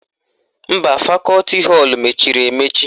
Mba, fakọti họlụ mechiri emechi